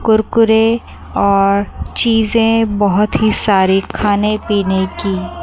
कुरकुरे और चीजे बहोत ही सारी खाने पीने की--